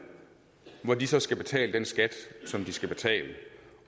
hvor de så skal betale den skat som de skal betale